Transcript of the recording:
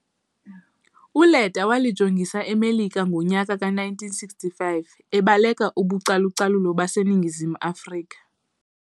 ULetta walijongisa eMelika ngo nyaka ka 1965 ebaleka ubucalucalu base ningizim afrika.